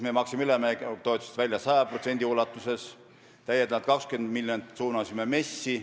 Meie maksime üleminekutoetused välja 100%, täiendavalt 20 miljonit suunasime MES-i.